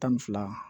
Tan ni fila